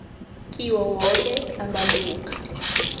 kiwo woke amalunga